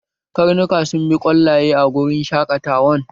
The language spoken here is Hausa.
Karnuka sun bi kwallaye a wurin shaƙatawan